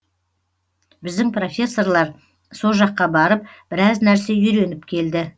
біздің профессорлар со жаққа барып біраз нәрсе үйреніп келді